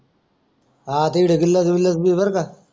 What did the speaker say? हा तिकडे गिलास बिलास भी भर का